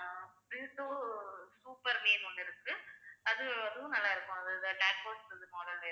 super மீன் ஒன்னு இருக்கு அது~ அதுவும் நல்லா இருக்கும் அது tadpods போலவே இருக்கும்